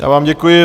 Já vám děkuji.